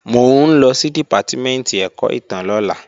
Mò ń lọ sí Dìpátímẹ̀ntì ẹ̀kọ́ ìtàn lọ́la